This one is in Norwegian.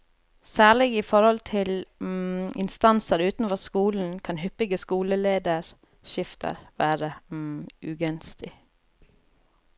Særlig i forhold til instanser utenfor skolen, kan hyppige skolelederskifter være ugunstig.